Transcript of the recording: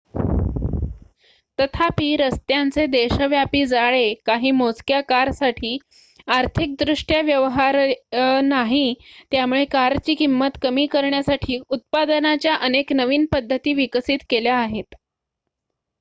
तथापि रस्त्यांचे देशव्यापी जाळे काही मोजक्या कारसाठी आर्थिकदृष्ट्या व्यवहार्य नाही त्यामुळे कारची किंमत कमी करण्यासाठी उत्पादनाच्या अनेक नवीन पद्धती विकसित केल्या आहेत